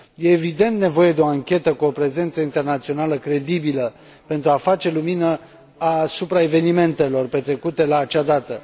Este în mod evident nevoie de o anchetă, cu o prezență internațională credibilă, pentru a face lumină asupra evenimentelor petrecute la acea dată.